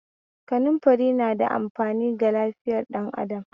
Kanumfari na da amfani ga lafiyar ɗan adam